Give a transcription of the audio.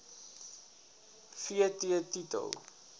v t titel